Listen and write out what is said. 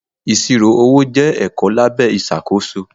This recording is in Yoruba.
Ìṣirò owó jẹ́ ẹ̀kọ́ lábẹ́ ìṣàkóso.